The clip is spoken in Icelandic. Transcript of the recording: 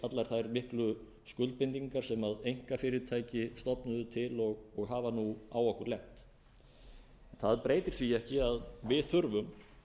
þær miklu skuldbindingar sem einkafyrirtæki stofnuðu til og hafa nú á okkur lent það breytir því ekki að við þurfum